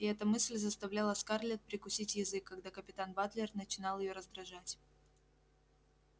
и эта мысль заставляла скарлетт прикусить язык когда капитан батлер начинал её раздражать